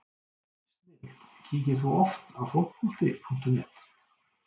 snilld Kíkir þú oft á Fótbolti.net?